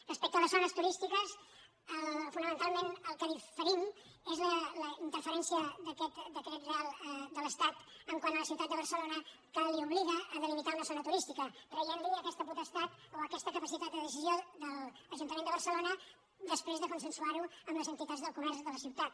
respecte a les zones turístiques fonamentalment en el que diferim és en la interferència d’aquest reial decret de l’estat quant a la ciutat de barcelona que l’obliga a delimitar una zona turística traient aquesta potestat o aquesta capacitat de decisió a l’ajuntament de barcelona després de consensuar ho amb les entitats del comerç de la ciutat